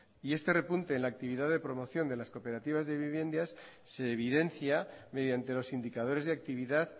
y este repunte en la actividad de promoción de las cooperativas de viviendas se evidencia mediante los indicadores de actividad